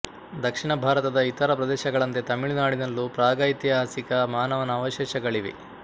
ದಕ್ಷಿಣ ಭಾರತದ ಇತರ ಪ್ರದೇಶಗಳಂತೆ ತಮಿಳು ನಾಡಿನಲ್ಲೂ ಪ್ರಾಗೈತಿಹಾಸಿಕ ಮಾನವನ ಅವಶೇಷಗಳಿವೆ